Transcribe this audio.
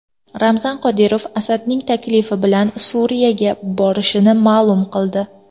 Ramzan Qodirov Asadning taklifi bilan Suriyaga borishini ma’lum qildi .